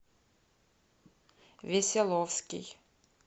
веселовский